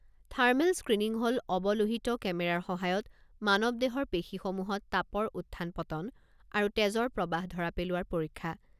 Thermal screening হ'ল অৱলোহিত কেমেৰাৰ সহায়ত মানৱ দেহৰ পেশীসমূহত তাপৰ উত্থান পতন আৰু তেজৰ প্ৰবাহ ধৰা পেলোৱাৰ পৰীক্ষা।